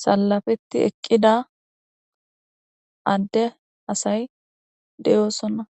salafeti eqqida adde asay deyoosonna.